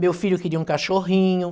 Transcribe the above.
Meu filho queria um cachorrinho.